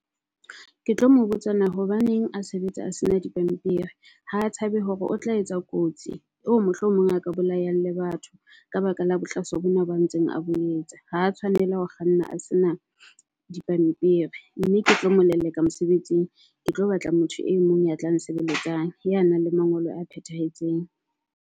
Ke tlo mo botsa na hobaneng a sebetsa a sena di pampiri ha tshabe hore o tla etsa kotsi. Wo mohlomong a ka bolayang le batho ka baka la bohlaswa bona ba ntseng a bo etsa. Ha tshwanela ho kganna a sena di pampiri mme ke tlo mo leleka mosebetsing. Ke tlo batla motho e mong ya tla nsebeletsang ya nang le mangolo a phethahetseng.